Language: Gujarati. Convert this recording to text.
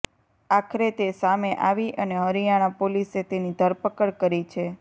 આખરે તે સામે આવી અને હરિયાણા પોલીસે તેની ધરપકડ કરી છે